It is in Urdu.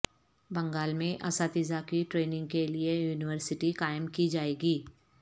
بنگال میں اساتذہ کی ٹریننگ کے لئے یونیورسٹی قائم کی جائے گی